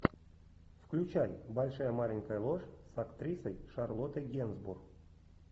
включай большая маленькая ложь с актрисой шарлоттой генсбур